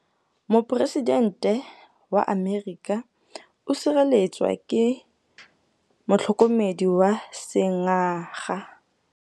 Poresitêntê wa Amerika o sireletswa ke motlhokomedi wa sengaga.